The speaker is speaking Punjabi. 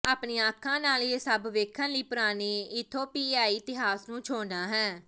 ਆਪਣੀਆਂ ਅੱਖਾਂ ਨਾਲ ਇਹ ਸਭ ਵੇਖਣ ਲਈ ਪੁਰਾਣੇ ਇਥੋਪੀਆਈ ਇਤਿਹਾਸ ਨੂੰ ਛੋਹਣਾ ਹੈ